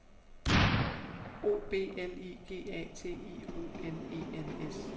O B L I G A T I O N E N S